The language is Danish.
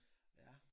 Ja